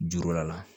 Juru la